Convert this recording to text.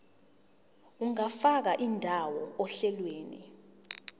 ungafaka indawo ohlelweni